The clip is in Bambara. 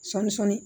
Sɔɔni sɔɔni